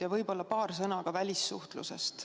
Ja võib-olla paar sõna ka välissuhtlusest.